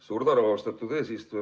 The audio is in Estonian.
Suur tänu, austatud eesistuja!